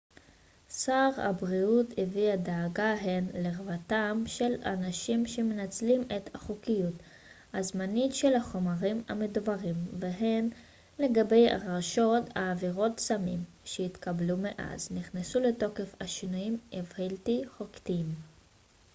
שר הבריאות הביע דאגה הן לרווחתם של אנשים שמנצלים את החוקיות הזמנית של החומרים המדוברים והן לגבי הרשעות בעבירות סמים שהתקבלו מאז נכנסו לתוקף השינויים הבלתי חוקתיים